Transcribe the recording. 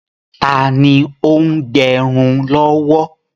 Taàní ó ń gẹrun lọ́wọ́?